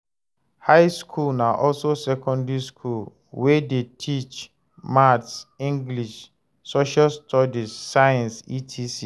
High school na also secondary school wey de teach maths, english, social studies, science etc.